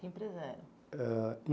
Que empresa era? Era